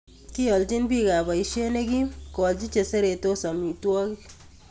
Kiiyanjin biikab boisyet nekim koalji cheseretos amitwokik